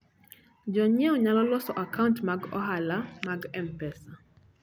Jonyiewo nyalo loso akaunt mag ohala mag M-Pesa.